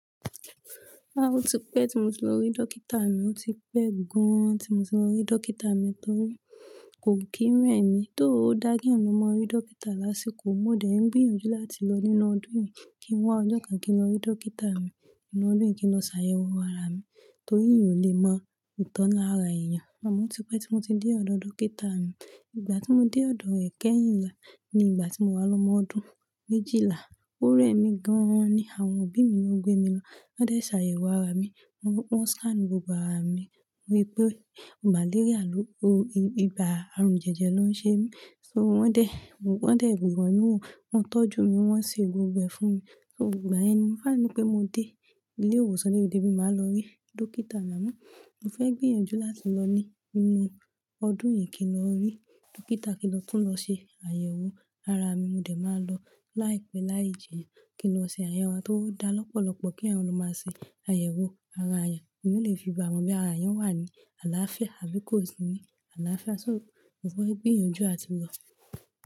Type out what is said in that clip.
Rárá, ó ti pẹ́ tí mo ti lọ rí dókítà mi. Ó ti pẹ́ gan-an tí mo ti lọ rí dókítà mi torí kò kí ń rẹ mí. Though ó dá keeyàn lo máa rí dókítà lásìkò, mo dé ń gbìyànjú láti lọ nínú ọdún yìí kí n wá ọjọ́ kan kí n lọ rí dókítà mi, nínú ọdún yìí kí n lọ ṣàyẹ̀wò ara mi torí yìí ò lè mọ ìtọ́ lára èèyàn. Àmọ́ ti pẹ́ tí mo ti dé ọ̀dọ̀ dókítà mi. Ìgbà tí mo dé ọ̀dọ̀ rẹ̀ kẹ́yìn ni ìgbà tí mo wá lọ́mọ ọdún méjìlá. Ó rẹ mí gan-an ni àwọn òbí mi ló gbé mi lọ. Wọ́n dé ṣàyẹ̀wò ara mi, wọ́n scan gbogbo ara mi. Wí pé màléríà ló, ibà àrùn jẹ̀jẹ̀ ló ń ṣe mí. So wọ́n dé gbìyànjú ò, wọ́n tọ́jú mi, wọ́n se gbé gbogbo ẹ fún mi. So ìgbà yen ni mó sa ri pé mo dé ilé ìwòsàn, máa lọ rí dókítà amọ́ mo fẹ́ gbìyànjú láti lọ ní ínú ọdún yìí kí n lọ rí dókítà kí lọ tún lọ ṣe àyẹ̀wò ara mi. Mo dé máa lọ láìpẹ́ láìjina kí n lọ ṣe àyẹ̀wò tó dá lọ́pọ̀lọ́pọ̀ kí èèyàn lọ máa ṣe àyẹ̀wò ara èèyàn. Èèyàn lè fi bá mọ boya ara èèyàn wà ní àlááfíà àbí kò sí ní àlááfíà. So mo fẹ́ gbìyànjú áti lọ.